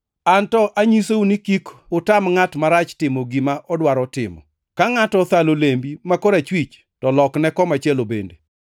Anto anyisou ni kik utam ngʼat marach timo gima odwaro timo. Ka ngʼato othalo lembi ma korachwich to lokne komachielo bende,